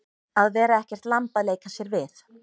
Að vera ekkert lamb að leika sér við